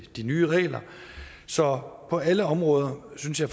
de nye regler så på alle områder synes jeg